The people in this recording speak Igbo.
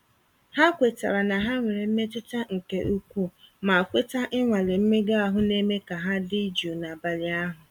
Ha kwetara na ha nwere mmetụta nke ukwuu, ma kweta ịnwale mmega ahụ na-eme ka ha dị jụụ n'abalị ahụ.